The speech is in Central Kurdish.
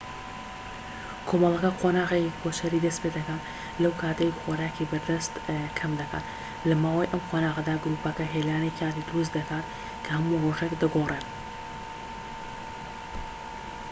کۆمەڵەکە قۆناغێکی کۆچەری دەست پێدەکات لەو کاتەی خۆراکی بەردەست کەم دەکات لە ماوەی ئەم قۆناغەدا گروپەکە هێلانەی کاتی دروست دەکات کە هەموو رۆژێک دەگۆڕێن